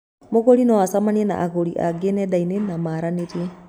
Mũgũri no acemanie na agũri angĩ nenda-inĩ na maaranĩrie